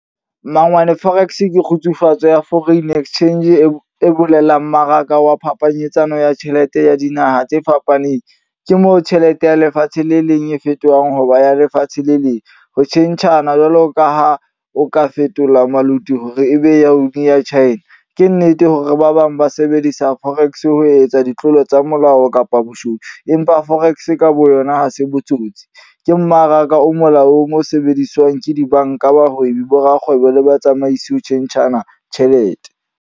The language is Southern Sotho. Mmangwane forex ke kgutsufatso ya Foreign Exchange e bolelang mmaraka wa phapanyetsano ya tjhelete ya dinaha tse fapaneng. Ke moo tjhelete ya lefatshe le leng e fetohang hoba ya lefatshe le leng. Ho tjhentjhana jwalo ka ha o ka fetola maluti hore ebe ya China. Ke nnete hore ba bang ba sebedisa forex ho etsa ditlolo tsa molao kapa boshodu. Empa forex ka boyona ha se botsotsi. Ke mmaraka o mola omo sebediswang ke dibanka, bahwebi, bo rakgwebo le batsamaisi ho tjhentjhana tjhelete.